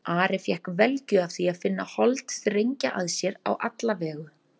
Ari fékk velgju af því að finna hold þrengja að sér á alla vegu.